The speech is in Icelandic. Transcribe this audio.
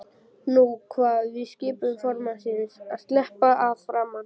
Nú kvað við skipun formannsins: Sleppa að framan!